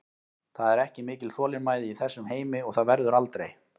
Það er ekki mikil þolinmæði í þessum heimi og það verður aldrei.